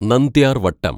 നന്ദ്യാര്‍വട്ടം